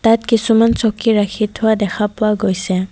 ইয়াত কিছুমান চকী ৰাখি থোৱা দেখা পোৱা গৈছে।